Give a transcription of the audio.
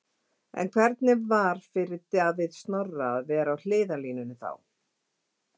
En hvernig var fyrir Davíð Snorra að vera á hliðarlínunni þá?